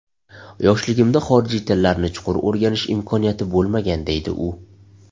Yoshligimda xorijiy tillarni chuqur o‘rganish imkoniyati bo‘lmagan, deydi u.